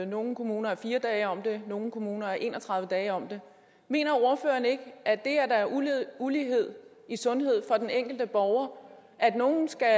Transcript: nogle kommuner er fire dage om det nogle kommuner er en og tredive dage om det mener ordføreren ikke at det er ulighed ulighed i sundhed for den enkelte borger at nogle skal